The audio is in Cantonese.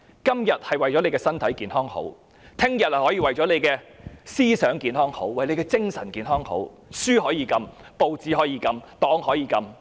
今天為了大家的身體健康而這樣做，明天也可以為了你的思想和精神健康，而禁止出版某些書籍、報紙，以至其他種種。